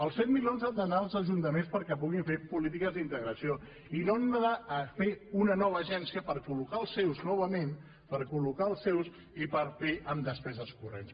els set milions han d’anar als ajuntaments perquè puguin fer polítiques d’integració i no han d’anar a fer una nova agència per col·locar els seus novament per col·locar els seus i per fer ho amb despeses corrents